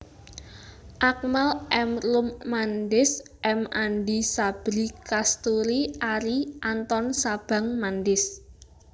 Akmal M Roem Mandis M Andi Sabri Kasturi Arie Anton Sabang Mandis